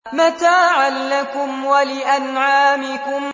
مَّتَاعًا لَّكُمْ وَلِأَنْعَامِكُمْ